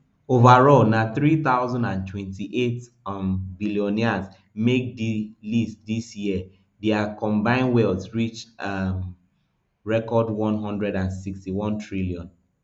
overall na three thousand and twenty-eight um billionaires make di list dis year dia combine wealth reach a um record one hundred and sixty-one trillion